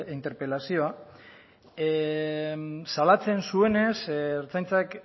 interpelazioa salatzen zuenez ertzaintzak